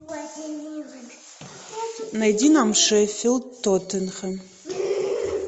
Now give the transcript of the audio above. найди нам шеффилд тоттенхэм